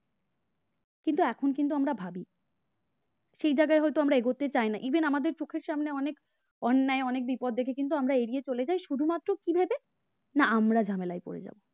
কিন্তু এখন কিন্তু আমরা ভাবি সেই জায়গায় হয়তো আমরা এগোতে চাই না even আমাদের চোখের সামনে অনেক অন্যায় অনেক বিপদ দেখে কিন্তু আমরা এগিয়ে চলে যায় শুধুমাত্র কিভাবে না আমরা ঝামেলায় পড়ে যাব